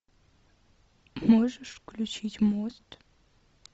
можешь включить мост